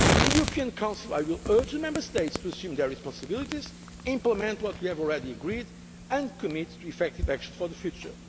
we have put in place. In the European Council I will urge the Member States to assume their responsibilities, implement what we have already agreed and commit to effective action